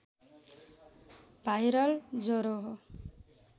viral ज्वरो हो